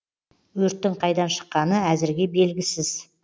өрттің қайдан шыққаны әзірге белгісіз